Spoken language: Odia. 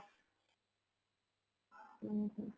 ଉଁ ହଁ